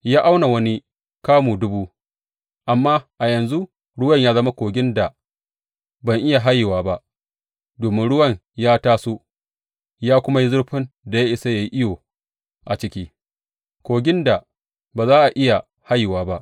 Ya auna wani kamu dubu, amma a yanzu ruwan ya zama kogin da ban iya hayewa ba, domin ruwan ya taso ya kuma yi zurfin da ya isa a yi iyo a ciki, kogin da ba za a iya hayewa ba.